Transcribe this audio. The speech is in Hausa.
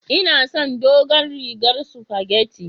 Inason dogon rigar sufageti.